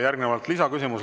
Järgnevalt lisaküsimus.